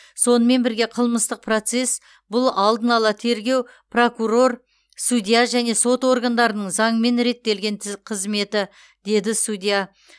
сонымен бірге қылмыстық процесс бұл алдын ала тергеу прокурор судья және сот органдарының заңмен реттелген тіз қызметі деді судья